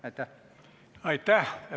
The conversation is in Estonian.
Aitäh!